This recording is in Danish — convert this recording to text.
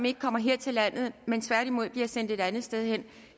ikke kommer her til landet men tværtimod bliver sendt et andet sted hen